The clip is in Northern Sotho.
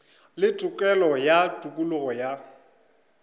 le tokelo ya tokologo ya